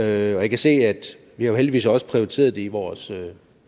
jeg kan se at vi jo heldigvis også har prioriteret det i vores